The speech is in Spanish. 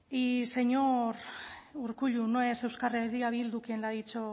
y señor urkullu no es euskal herria bildu quien le ha dicho